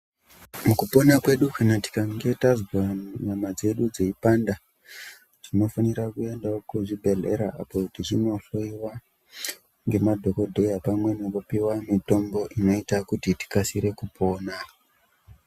Mukupona kwedu kana tikange tazwa nyama dzedu dzeipanda kuzvibhedhlera apo teindohloiwa nemadhokodheya pamwe nekupiwa mitombo inoita kuti tikasire kupona.